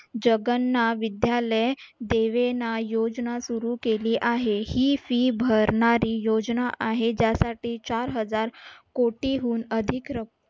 जगन्ना विद्या दीवेना योजना सुरू केली आहे. ही fee भरणारी योजना आहे. ज्यासाठी चार हजार कोटीहून अधिक रक्क